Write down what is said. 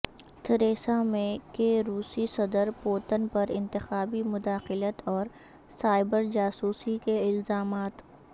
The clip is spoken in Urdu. تھریسامے کے روسی صدر پوتن پر انتخابی مداخلت اور سائبر جاسوسی کے الزامات